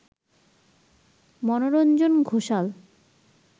Manoranjan Ghoshal